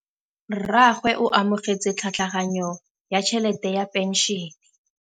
Rragwe o amogetse tlhatlhaganyô ya tšhelête ya phenšene.